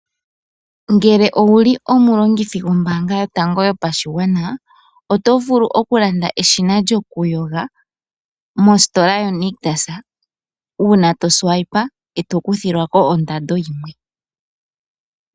Ngele owuli omulongithi gombaanga yotango yopashigwana oto vulu okulanda eshina lyokuyoga mositola yaNictus. Uuna tofutu nokakalata oho kuthilwako ondando yimwe.